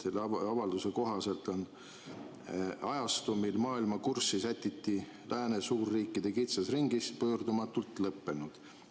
Selle avalduse kohaselt on ajastu, mil maailma kurssi sätiti lääne suurriikide kitsas ringis, pöördumatult lõppenud.